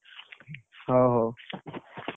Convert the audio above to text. ହଉ ହଉ।